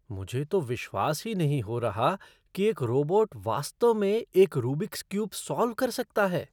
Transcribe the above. मुझे तो विश्वास ही नहीं हो रहा कि एक रोबोट वास्तव में एक रूबिक क्यूब सॉल्व कर सकता है।